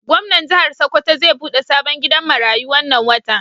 Gomnan jihar sokoto zai bude sabon gidan maratu wannan wata